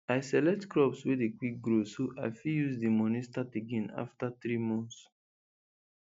i select crops wey dey quick grow so i fit use di moni start again afta three months